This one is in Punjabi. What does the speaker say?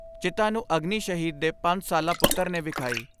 ਚਿਤਾ ਨੂੰ ਅਗਨੀ ਸ਼ਹੀਦ ਦੇ ਪੰਜ ਸਾਲਾ ਪੁੱਤਰ ਨੇ ਵਿਖਾਈ।